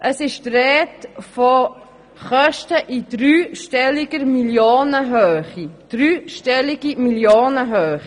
Man spricht von Kosten in dreistelliger Millionenhöhe.